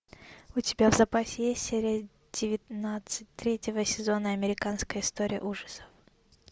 у тебя в запасе есть серия девятнадцать третьего сезона американская история ужасов